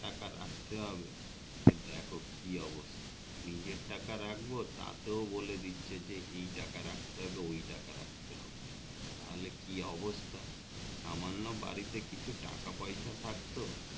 রাখতে হবে দেখো কি অবস্থা নিজের টাকা রাখবো তাতেও বলে দিচ্ছে যে এই টাকা রাখতে হবে ওই টাকা রাখতে হবে তাহলে কি অবস্থা সামান্য বাড়িতে কিছু টাকা পয়সা থাকতো